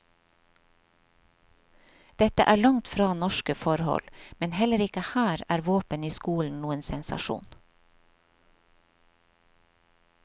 Dette er langt fra norske forhold, men heller ikke her er våpen i skolen noen sensasjon.